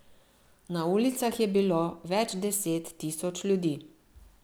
Na ulicah je bilo več deset tisoč ljudi.